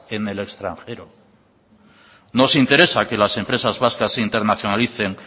en el extranjero nos interesa que las empresas vascas se internacionalicen